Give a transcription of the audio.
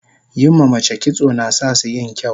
yin ma mace kitso nasasu yin kyau